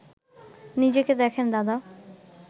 নিজেকে দেখেন দাদা